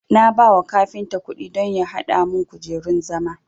Na bawa kafinta kudi don ya hada mun kujerun zama